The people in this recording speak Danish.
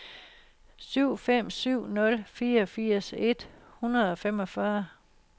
syv fem syv nul fireogfirs et hundrede og femogfyrre